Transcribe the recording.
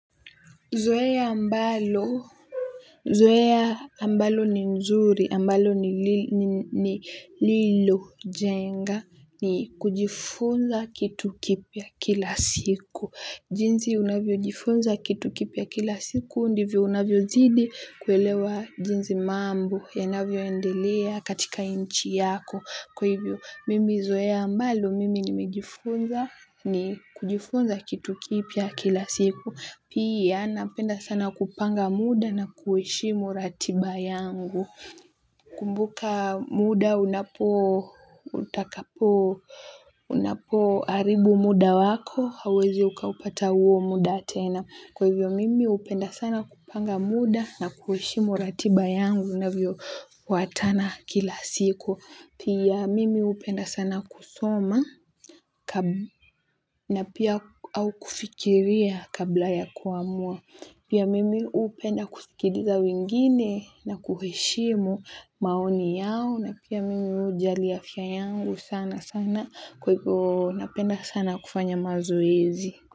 Zoea ambalo ni nzuri, ambalo nililojenga, ni kujifunza kitu kipya kila siku. Jinsi unavyojifunza kitu kipya kila siku ndivyo unavyozidi kuelewa jinsi mambo yanavyoendelea katika nchi yako. Kwa hivyo, mimi zoea ambalo, mimi nimejifunza ni kujifunza kitu kipya kila siku. Pia, napenda sana kupanga muda na kuheshimu ratiba yangu. Kumbuka muda unapo unapo haribu muda wako, hauwezi ukaupata huo muda tena. Kwa hivyo mimi hupenda sana kupanga muda na kuheshimu ratiba yangu inavyo fuatana kila siku. Pia mimi hupenda sana kusoma na pia au kufikiria kabla ya kuamua. Pia mimi hupenda kusikiliza wengine na kuheshimu maoni yao na pia mimi hujali afya yangu sana sana kwa hivyo. Napenda sana kufanya mazoezi.